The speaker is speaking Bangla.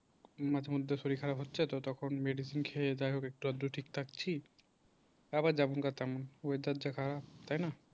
মাঝে মধ্যে শরীর খারাপ হচ্ছে তো তখন medicine খেয়ে যাক একটু আধটু ঠিক থাকছি আবার যেমন কার তেমন weather যা খারাপ তাই না।